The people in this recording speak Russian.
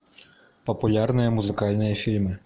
популярные музыкальные фильмы